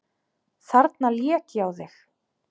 Þarna lék ég á þig!